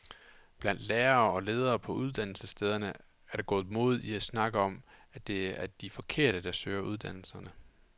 Blandt lærere og ledere på uddannelsesstederne er der gået mode i at snakke om, at det er de forkerte, der søger uddannelserne.